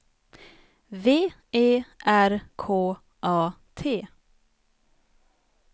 V E R K A T